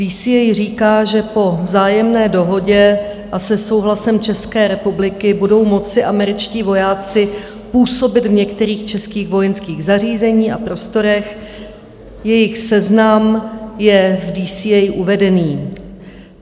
DCA říká, že po vzájemné dohodě a se souhlasem České republiky budou moci američtí vojáci působit v některých českých vojenských zařízeních a prostorech, jejich seznam je v DCA uvedený.